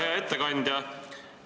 Hea ettekandja!